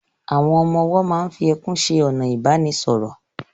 Àwọn ọmọ-ọwọ́ máa n fi ẹkún ṣe ọ̀nà ìbánisọ̀rọ̀